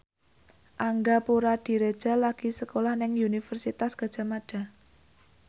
Angga Puradiredja lagi sekolah nang Universitas Gadjah Mada